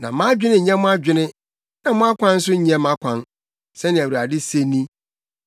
“Na mʼadwene nyɛ mo adwene, na mo akwan nso nyɛ mʼakwan,” sɛnea Awurade se ni.